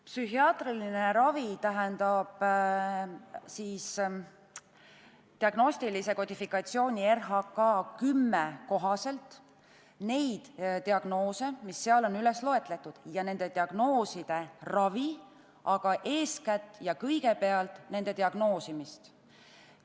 Psühhiaatriline ravi puudutab diagnostilise kodifikatsiooni RHK-10 kohaselt neid diagnoose, mis seal on üles loetud, ja hõlmab nende diagnooside korral pakutavat ravi, aga eeskätt diagnoosimist.